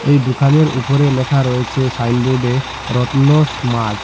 এই দোকানের উপরে লেখা রয়েছে সাইনবোর্ডে রত্ন স্মার্ট ।